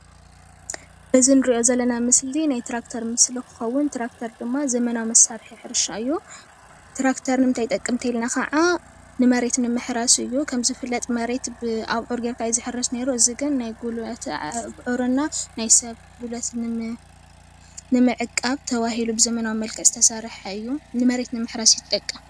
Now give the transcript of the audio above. እዚ እንሪኦ ዘለና ምስሊ ናይ ትራክተር ምስሊ እንትኸዉን። ትራክተር ድማ ዘመናዊ መሳርሒ ሕርሻ እዩ ። ትራክተር ንምንታይ ይጠቅም እንተኢልና ከዓ ንመሬት ንምሕራስ እዩ። ከም ዝፍለጥ መሬት ብኣቡዕር ጌርካ እዩ ዝሕረስ ኔሩ። እዚ ግን ናይ ጉልበት ኣቡዕር እና ናይ ሰብ ጉልበት ንምዕቃብ ተባሂሉ ብዘመናዊ መልክዕ ዝተሰረሐ እዩ ንመሬት ንምሕራስ እዩ ዝጠቅም።